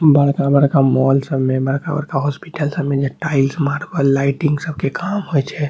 बड़का-बड़का मॉल सब में बड़का-बड़का हॉस्पिटल सब में जे टाइल्स मार्बल लाइटिंग सब के काम होइ छै।